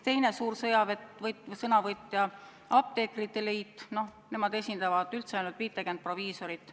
Teine suur sõnavõtja on olnud apteekrite liit, kes esindab ainult 50 proviisorit.